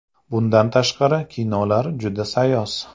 Bundan tashqari kinolar juda sayoz.